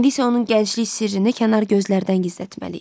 İndi isə onun gənclik sirrini kənar gözlərdən gizlətməli idi.